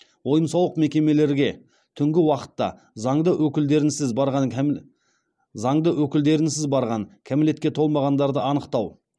ойын сауық мекемелерге түнгі уақытта заңды өкілдерінсіз барған кәмелетке толмағандарды анықтау